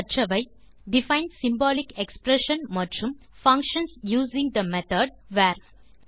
கற்றவை define symbolic expression மற்றும் functions using the method var